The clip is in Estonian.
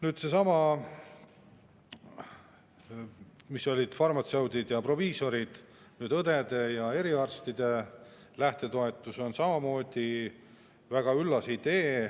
Nii nagu farmatseutide ja proviisorite lähtetoetus, on ka õdede ja eriarstide lähtetoetus samamoodi väga üllas idee.